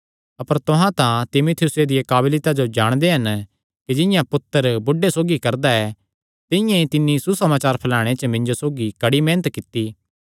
अपर तुहां तां तीमुथियुसे दिया काबलियता जो जाणदे हन कि जिंआं पुत्तर बुढ़े सौगी करदा ऐ तिंआं ई तिन्नी सुसमाचार फैलाणे च मिन्जो सौगी कड़ी मेहनत कित्ती